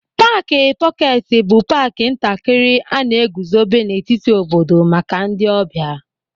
Paaki pọketi bụ paaki ntakịrị a na-eguzobe n'etiti obodo maka ndị ọbịa.